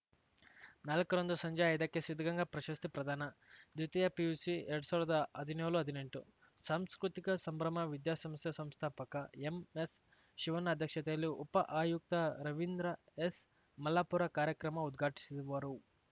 ನಾಲ್ಕ ರಂದು ಸಂಜೆ ಐದಕ್ಕೆ ಸಿದ್ಧಗಂಗಾ ಪ್ರಶಸ್ತಿ ಪ್ರದಾನದ್ವಿತೀಯ ಪಿಯುಸಿಎರಡ್ ಸಾವಿರ್ದಾ ಹದಿನೇಳುಹದಿನೆಂಟು ಸಾಂಸ್ಕೃತಿಕ ಸಂಭ್ರಮ ವಿದ್ಯಾಸಂಸ್ಥೆ ಸಂಸ್ಥಾಪಕ ಎಂಎಸ್‌ಶಿವಣ್ಣ ಅಧ್ಯಕ್ಷತೆಯಲ್ಲಿ ಉಪ ಆಯುಕ್ತ ರವೀಂದ್ರ ಎಸ್‌ಮಲ್ಲಾಪುರ ಕಾರ್ಯಕ್ರಮ ಉದ್ಘಾಟಿಸುವರು